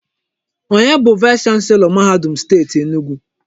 Onye bụ vaịs chanselọ mahadum Steeti Enugwu?